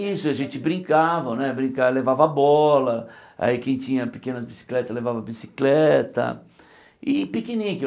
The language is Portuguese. Isso, a gente brincava né, brinca levava bola, aí quem tinha pequenas bicicletas levava bicicleta e piquenique.